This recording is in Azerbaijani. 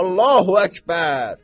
Allahü Əkbər!